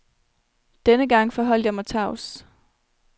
Denne gang forholdt jeg mig tavs.